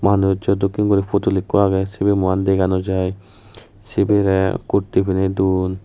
manujo dokkin gori photul ekku age sibi muian dega nw jai cibiray kurti pine dun.